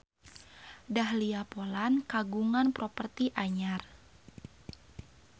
Dahlia Poland kagungan properti anyar